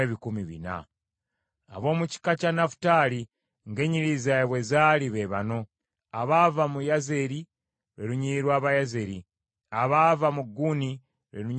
Ab’omu kika kya Nafutaali ng’ennyiriri zaabwe bwe zaali be bano: abaava mu Yazeeri, lwe lunyiriri lw’Abayazeeri, abaava mu Guni, lwe lunyiriri lw’Abaguni